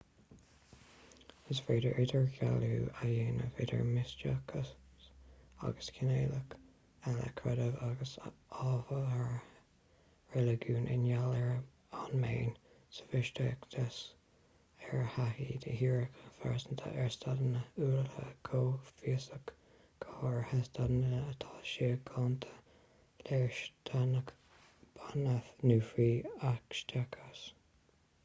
is féidir idirdhealú a dhéanamh idir misteachas agus cineálacha eile creidimh agus adhartha reiligiúnaí i ngeall ar an mbéim sa mhisteachas ar thaithí dhíreach phearsanta ar staideanna uathúla comhfhiosachta go háirithe staideanna atá síochánta léirsteanach beannaithe nó fiú eacstaiseach